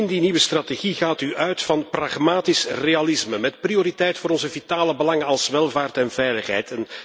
In die nieuwe strategie gaat u uit van pragmatisch realisme met prioriteit voor onze vitale belangen als welvaart en veiligheid.